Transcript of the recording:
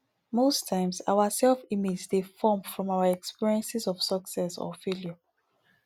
most times our self image dey form from our experience of success or failure